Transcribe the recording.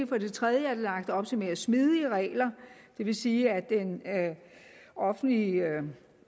for det tredje lagt op til mere smidige regler det vil sige at den offentlige